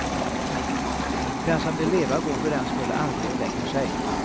Den som vill leva går fördenskull aldrig och lägger sig.